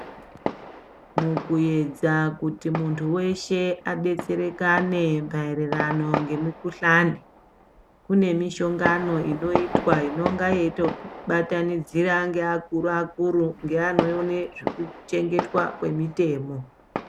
Tomboyedza kuti muntu weshe adetsereka nemaererano nemukhuhlani kune mushongano inoitwa inonga yeitobatanidzira ngeakuru akuru neanoone zveuchengetwa kwemitemo.